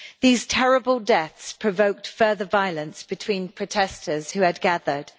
These terrible deaths provoked further violence between protesters who had gathered.